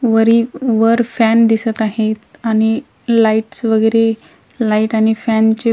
वरी वर फॅन दिसत आहेत आणि लाईट्स वगैरे लाईट आणि फॅन चे--